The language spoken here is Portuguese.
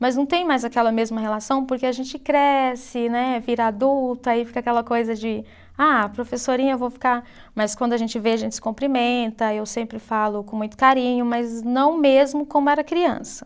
Mas não tem mais aquela mesma relação porque a gente cresce, né, vira adulta, aí fica aquela coisa de, ah, professorinha eu vou ficar, mas quando a gente vê a gente se cumprimenta, eu sempre falo com muito carinho, mas não mesmo como era criança.